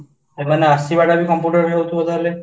ସେମାନେ ଆସିବାଟାବି computer ହଉଥିବ ତା'ହାଲେ